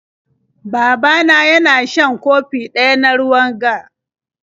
Baba na yana shan kofi Ƙ Ɓ Ɗ ɗaya na ruwan g